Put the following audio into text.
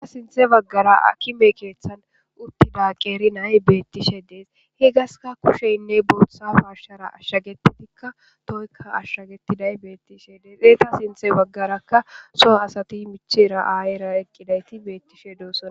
Eta sinthe baggara akime keeththan uttida qeeri nay beettishe dees he gaska kusheynne booththa farshara ashshagetitikka toykka ashshagetiday beettishe dees ee ta sinthe baggarakka soo asati michera aayera eqqidayti beettishe doosana.